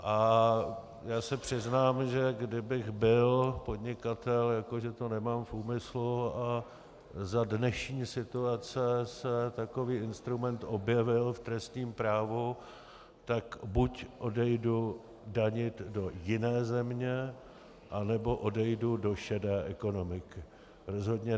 A já se přiznám, že kdybych byl podnikatel, jako že to nemám v úmyslu, a za dnešní situace se takový instrument objevil v trestním právu, tak buď odejdu danit do jiné země, anebo odejdu do šedé ekonomiky.